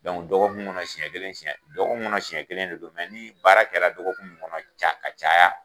dɔgɔkun kɔnɔ siɲɛ kelen siɲɛ dɔgɔkun kɔnɔ siɲɛ kelen de don ni baara kɛra dɔgɔkun mun kɔnɔ ca ka caya